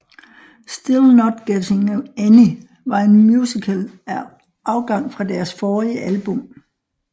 Still Not Getting Any var en musical afgang fra deres forrige album